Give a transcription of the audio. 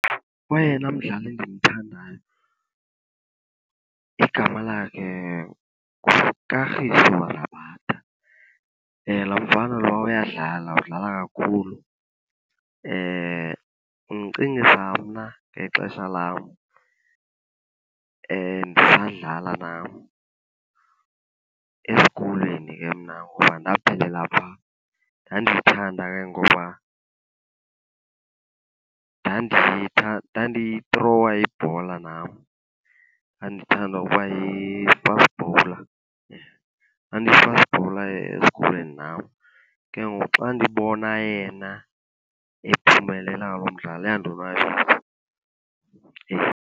Oyena mdlali ndimthandayo igama lakhe nguKagiso Rabada. Laa mfana lowa uyadlala, udlala kakhulu. Undicingisa mna ngexesha lam ndisadlala nam, esikolweni ke mna ngoba ndaphelela phaa. Ndandiyithanda ke ngoba ndandiyithrowa ibhola nam, ndandithanda uba yi-fast bowler, ndandiyi-fast bowler esikolweni nam. Ke ngoku xa ndibona yena ephumelela lo mdlalo iyandonwabisa.